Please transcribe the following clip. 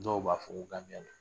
Dɔw b'a fɔ ko don